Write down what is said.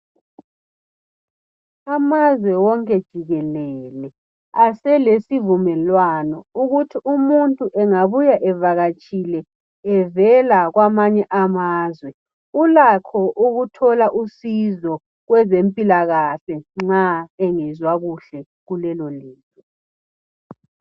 Amazwe wonke jikelele aselesivumelwano ukuthi umuntu engabuya evakatshile evela kwamanye amazwe ulakho ukuthola usizo kwezempilakahle nxa engezwa kuhle kulelolizwe.